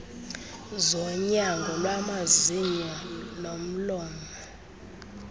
zonyango lwamazinyo nolomlomo